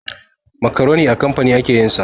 Makaroni a kamfani ake yin sa.